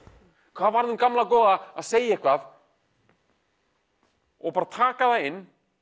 hvað varð um gamla góða að segja eitthvað og bara taka það inn